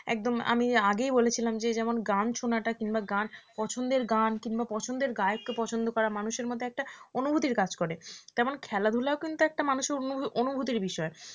একদম আমি আগেই বলেছিলাম যে যেমন গান শোনাটা কিংবা গান পছন্দের গান কিংবা পছন্দের গায়ককে পছন্দ করা মানুষের মধ্যে একটা অনুভূতির কাজ করে তেমন খেলাধূলাও কিন্তু একটা মানুষের অনু~ অনুভূতির বিষয়